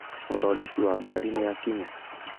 Mũthondeki wa ngari nĩakinya